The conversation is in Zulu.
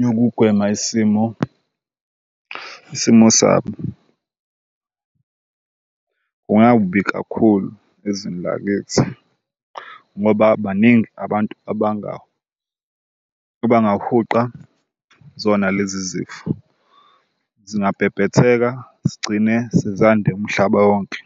yokugwema isimo isimo sabo. Kungakubi kakhulu ezweni lakithi ngoba baningi abantu abangahuqa zona lezi zifo, zingabhebhetheka zigcine sezande umhlaba wonke.